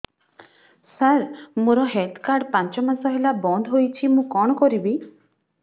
ସାର ମୋର health card ପାଞ୍ଚ ମାସ ହେଲା ବଂଦ ହୋଇଛି ମୁଁ କଣ କରିବି